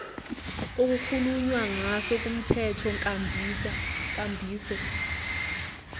okukhulunywa ngaso kumthethonkambiso